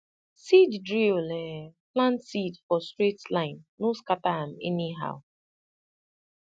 seed drill um plant seed for straight line no scatter am anyhow